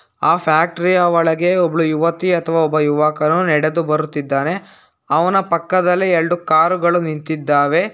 ಆ ಫ್ಯಾಕ್ಟರಿ ಯ ಒಳಗೆ ಒಬ್ಳು ಯುವತಿ ಅಥವಾ ಒಬ್ಬ ಯುವಕನು ನಡೆದು ಬರುತ್ತಿದ್ದಾನೆ ಅವನ ಪಕ್ಕದಲ್ಲಿ ಎಳ್ಡು ಕಾರು ಗಳು ನಿಂತಿದ್ದಾವೆ.